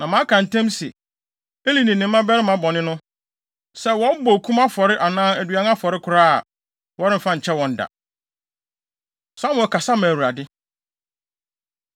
Na maka ntam se, Eli ne ne mmabarima bɔne no, sɛ wɔbɔ okum afɔre anaa aduan afɔre koraa a, wɔremfa nkyɛ wɔn da.” Samuel Kasa Ma Awurade